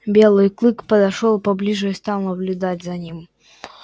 белый клык подошёл поближе и стал наблюдать за ним